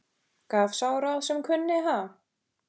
Gaf sá ráð sem kunni, ha!